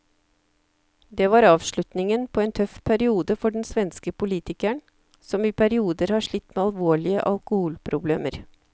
Det var avslutningen på en tøff periode for den svenske politikeren, som i perioder har slitt med alvorlige alkoholproblemer.